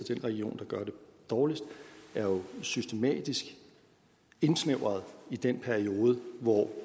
den region der gør det dårligst er jo systematisk indsnævret i den periode hvor